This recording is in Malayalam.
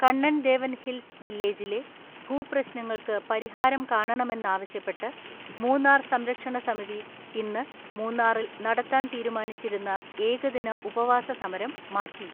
കണ്ണൻ ദേവൻ ഹിൽസ് വില്ലേജിലെ ഭൂപ്രശ്നങ്ങൾക്ക് പരിഹാരം കാണണമെന്നാവശ്യപ്പെട്ട് മൂന്നാർ സംരക്ഷണസമിതി ഇന്ന് മൂന്നാറിൽ നടത്താൻ തീരുമാനിച്ചിരുന്ന ഏകദിന ഉപവാസസമരം മാറ്റി.